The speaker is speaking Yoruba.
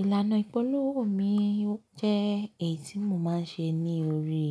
Ìlànà ìpolówó mi jẹ́ èyí tí mo máa ń ṣe ní orí